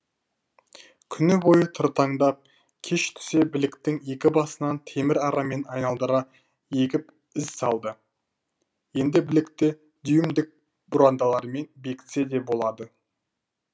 күні бойы тыртаңдап кеш түсе біліктің екі басынан темір арамен айналдыра егеп із салды енді білікті дюймдік бұрандалармен бекітсе де болады